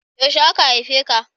Yaushe aka haife ka?